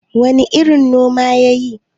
wane irin noma ya yi?